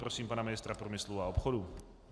Prosím pana ministra průmyslu a obchodu.